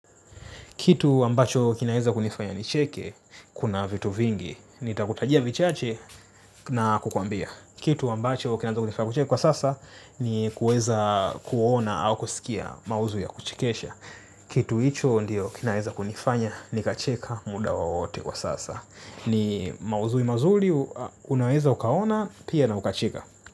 Kitu ambacho kinaweza kunifanya nicheke, kuna vitu vingi. Nitakutajia vichache na kukuambia. Kitu ambacho kinaweza kunifanya kucheka kwa sasa, ni kuweza kuona au kusikia maudhui ya kuchekesha. Kitu hicho ndiyo kinaweza kunifanya, nikacheka muda wowote kwa sasa. Ni maudhui mazuri, unaweza ukaona, pia na ukacheka.